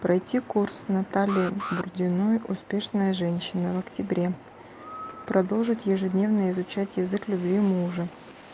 пройти курс наталья бурдиной успешная женщина в октябре продолжить ежедневное изучать язык любви мужа